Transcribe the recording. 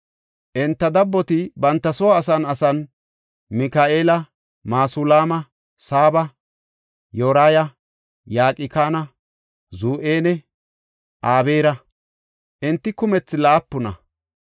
Enta dabboti, banta soo asan asan, Mika7eela, Masulaama, Saaba, Yoraya, Yaqkana, Zu7enne Ebeera. Enti kumethi laapuna.